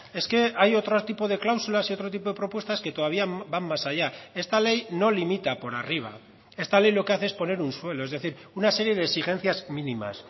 es que hay otro tipo de cláusulas y otro tipo de propuestas que todavía van más allá esta ley no limita por arriba esta ley lo que hace es poner un suelo es decir una serie de exigencias mínimas